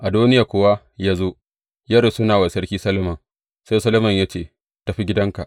Adoniya kuwa ya zo, ya rusuna wa Sarki Solomon, sai Solomon ya ce, Tafi gidanka.